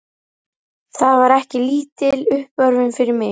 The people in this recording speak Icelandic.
Það var ekki lítil uppörvun fyrir mig.